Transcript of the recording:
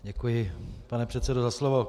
Děkuji, pane předsedo, za slovo.